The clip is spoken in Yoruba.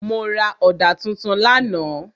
Mo ra ọ̀dà tuntun lánàá.